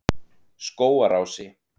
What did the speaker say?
Skógarási